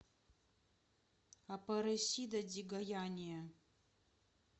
апаресида ди гояния